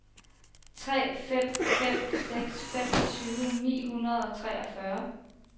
tre fem fem seks femogtyve ni hundrede og treogfyrre